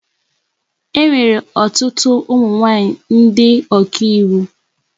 E nwere ọtụtụ ụmụ nwaanyị ndị ọkà iwu.